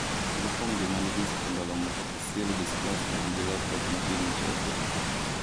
Moko kuom joma nigi spondlometaphyseal dysplasia nigi lokruok matin e choke.